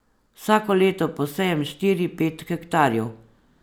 Vsako leto posejem štiri, pet hektarjev.